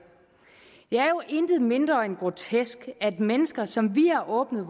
jo intet mindre end grotesk at mennesker som vi har åbnet